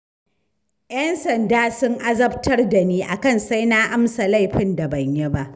Y'an sanda sun azabtar da ni, akan sai na amsa laifin da ban yi ba.